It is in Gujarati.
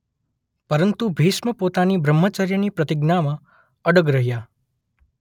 પરંતુ ભીષ્મ પોતાની બ્રહ્મચર્યની પ્રતિજ્ઞામા અડગ રહ્યા.